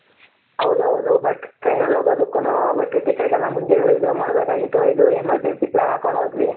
ಹೌದು ಹೌದು but, train ನಲ್ಲಿ ಹೋಗೋ ದಕ್ಕುನು but ticket ಎಲ್ಲ ಮುಂಚೆನೇ reserve ಮಾಡಬೇಕಗಿತು ಇದು emergency plan ಹಾಕೊಂಡು ಹೋದ್ವಿ.